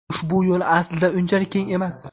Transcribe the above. Ushbu yo‘l aslida unchalik keng emas.